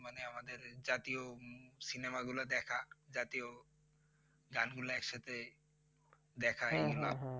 মানে আমাদের জাতীয় cinema গুলা দেখা জাতীয় গান গুলা একসাথে দেখা